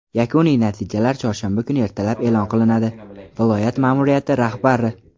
yakuniy natijalar chorshanba kuni ertalab eʼlon qilinadi – viloyat maʼmuriyati rahbari.